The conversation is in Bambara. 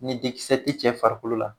Ni dikisɛ ti cɛ farikolo la